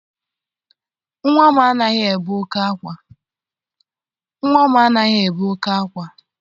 Nnwa m anaghị ebe oké ákwá